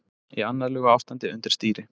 Í annarlegu ástandi undir stýri